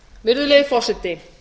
virðulegi forseti